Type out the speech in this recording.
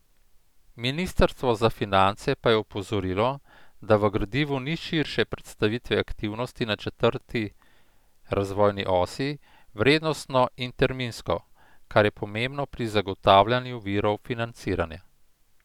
Ministrstvo za finance pa je opozorilo, da v gradivu ni širše predstavitve aktivnosti na četrti razvojni osi, vrednostno in terminsko, kar je pomembno pri zagotavljanju virov financiranja.